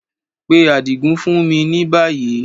Pe Adigun fun mi ni bayi!